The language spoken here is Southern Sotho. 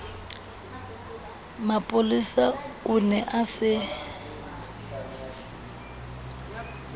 mapolesa o ne a se